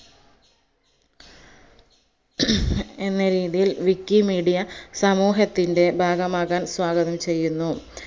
എന്ന രീതിയിൽ wikimedia സമൂഹത്തിന്റെ ഭാഗമാകാൻ സ്വാഗതം ചെയ്യുന്നു